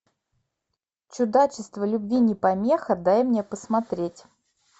чудачество любви не помеха дай мне посмотреть